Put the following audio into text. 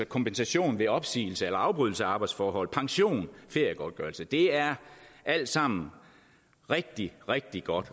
kompensation ved opsigelse eller afbrydelse af arbejdsforhold pension og feriegodtgørelse det er alt sammen rigtig rigtig godt